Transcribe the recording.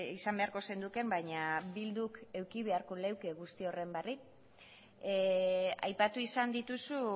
izan beharko zenukeen baina bilduk eduki beharko luke guzti horren berri aipatu izan dituzu